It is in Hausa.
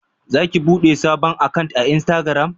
Za ki bude sabon akant a insitagiram?